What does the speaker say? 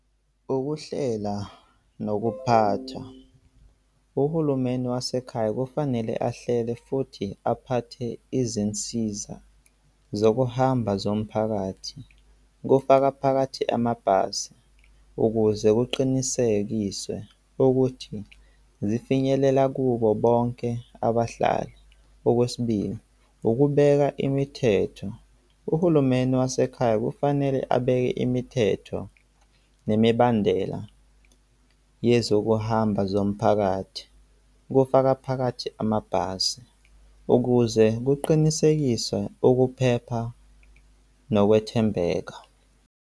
Ukuhlela nokuphathwa, uhulumeni wasekhaya kufanele ahlele futhi aphathe izinsiza zokuhamba zomphakathi kufaka phakathi amabhasi ukuze kuqinisekiswe ukuthi zifinyelela kubo bonke abahlali. Okwesibili, ukubeka imithetho, uhulumeni wasekhaya kufanele abeke imithetho nemibandela yezokuhamba zomphakathi kufaka phakathi amabhasi ukuze kuqinisekiswe ukuphepha nokwethembeka.